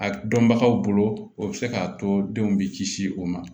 A dɔnbagaw bolo o bɛ se k'a to den bɛ kisi o ma